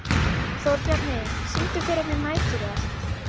Þórbjarni, syngdu fyrir mig „Næturrölt“.